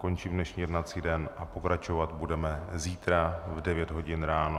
Končím dnešní jednací den a pokračovat budeme zítra v 9 hodin ráno.